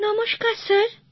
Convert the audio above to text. নমস্কার স্যার